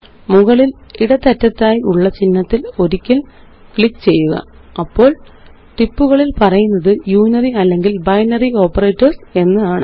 മുകളില് ഇടത്തറ്റത്തായി ഉള്ള ചിഹ്നത്തില് ഒരിക്കല് ക്ലിക്ക് ചെയ്യുക അപ്പോള് ടിപ്പുകളില് പറയുന്നത് യുണറി അല്ലെങ്കില് ബൈനറി ഓപ്പറേറ്റർസ് എന്നാണ്